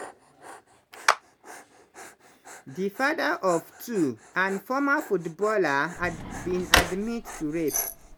di father-of-two and former football player bin admit to rape.